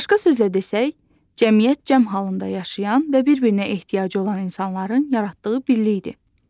Başqa sözlə desək, cəmiyyət cəm halında yaşayan və bir-birinə ehtiyacı olan insanların yaratdığı birlikdir.